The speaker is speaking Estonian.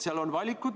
Seal on valikud.